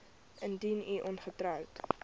indien u ongetroud